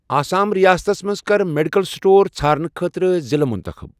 آسام ریاستس مَنٛز کر میڈیکل سٹور ژھارنہٕ خٲطرٕ ضلعہٕ مُنتخب۔